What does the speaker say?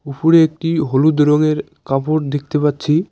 উফুরে একটি হলুদ রঙের কাপড় দেখতে পাচ্ছি।